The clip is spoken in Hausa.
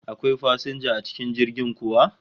Akwai fasinja a cikin jirgin kuwa?